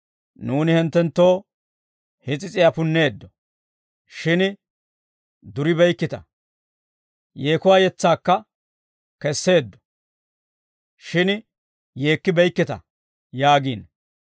‹Nuuni hinttenttoo his'is'iyaa punneeddo; shin duribeykkita; yeekuwaa yetsaakka kesseeddo; shin yeekkibeykkita› yaagiino.